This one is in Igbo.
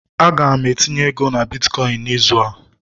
Aga m etinye ego na bitkọịn n'izu a